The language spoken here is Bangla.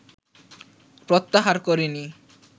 প্রত্যাহার করেনি